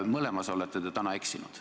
Mõlemas olete täna eksinud.